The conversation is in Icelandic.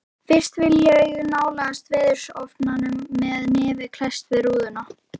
Fyrst vil ég nálgast veðurofsann með nef klesst við rúðu.